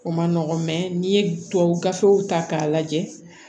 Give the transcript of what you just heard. O man nɔgɔ n'i ye tubabu gafew ta k'a lajɛ